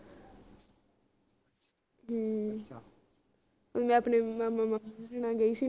ਹਮ ਮੈਂ ਆਪਣੇ ਮਾਮਾ ਮਾਮੀ ਨਾਲ ਗਈ ਸੀ ਨਾ